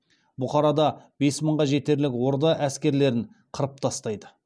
бұхарада бес мыңға жетерлік орда әскерлерін қырып тастайды